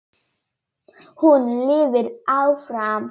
Hún lifir áfram.